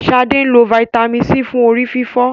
Sade nlọ Vitamin c fún orí-fífọ́.